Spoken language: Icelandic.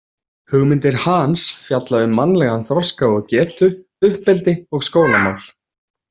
Hugmyndir Hahns fjalla um mannlegan þroska og getu, uppeldi og skólamál.